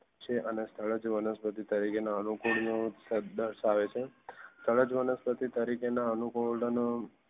છે અને સ્થળ વનસ્પતિ તરીકે અનુકૂળ નો દર્શાવે છે વનસ્પતિ તરીકે ના અનુકૂળ ઓ